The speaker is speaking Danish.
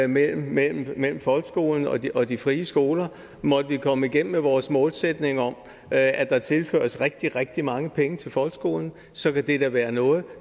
mellem mellem folkeskolen og de og de frie skoler måtte vi komme igennem med vores målsætning om at at der tilføres rigtig rigtig mange penge til folkeskolen så kan det da være noget